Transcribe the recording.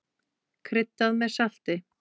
Kryddað með salti.